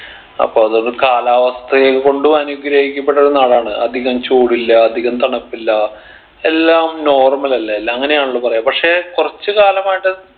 അപ്പൊ അതോണ്ട് കാലാവസ്ഥയെ കൊണ്ടു അനുഗ്രഹിക്കപ്പെട്ടൊരു നാടാണ് അധികം ചൂടില്ല അധികം തണുപ്പില്ല എല്ലാം normal അല്ലെ എല്ലാ അങ്ങനെ ആണല്ലോ പറയാ പക്ഷെ കുറച്ച് കാലമായിട്ട്